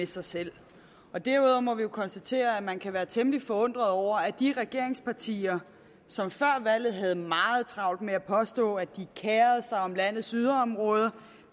sig selv derudover må jeg konstatere at man kan være temmelig forundret over at de regeringspartier som før valget havde meget travlt med at påstå at de kerede sig om landets yderområder